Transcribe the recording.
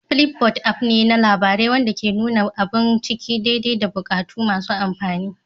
Flipboard app ne na labarai wanda ke nuna abun ciki daidai da bukatun masu amfani